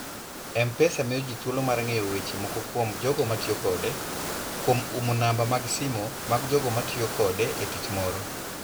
M-Pesa miyo ji thuolo mar ng'eyo weche moko kuom jogo ma tiyo kode, kuom umo namba mag simo mag jogo ma tiyo kode e tich moro.